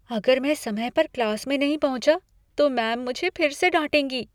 अगर मैं समय पर क्लास में नहीं पहुँचा, तो मैम मुझे फिर से डांटेगी।